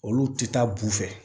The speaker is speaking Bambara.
Olu tɛ taa bu fɛ